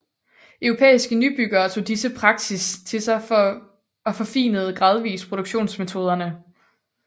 Europæiske nybyggere tog disse praksis til sig og forfinede gradvist produktionsmetoderne